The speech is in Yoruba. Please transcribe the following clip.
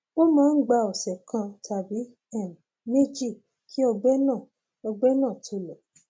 ó máa ń gba ọsẹ kan tàbí um méjì kí ọgbẹ náà ọgbẹ náà tó lọ